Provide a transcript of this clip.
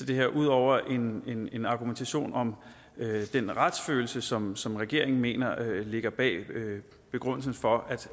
det her ud over en en argumentation om den retsfølelse som som regeringen mener ligger bag begrundelsen for